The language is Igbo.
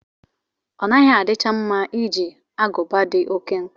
Ọnaghị adicha mma iji agụba dị oké nkọ.